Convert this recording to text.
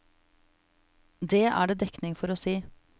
Det er det dekning for å si.